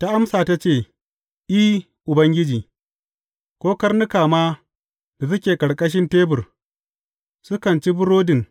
Ta amsa, ta ce, I, Ubangiji, ko karnuka ma da suke ƙarƙashin tebur, sukan ci burbuɗin